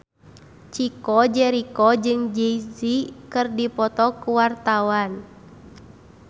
Chico Jericho jeung Jay Z keur dipoto ku wartawan